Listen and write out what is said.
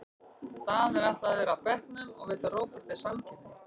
Daða er ætlað að vera á bekknum og veita Róberti samkeppni.